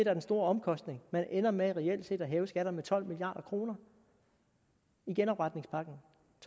er den store omkostning man ender med reelt set at hæve skatterne med tolv milliard kroner i genopretningspakken